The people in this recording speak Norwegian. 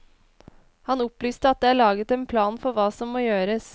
Han opplyste at det er laget en plan for hva som må gjøres.